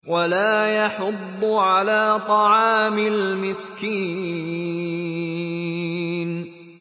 وَلَا يَحُضُّ عَلَىٰ طَعَامِ الْمِسْكِينِ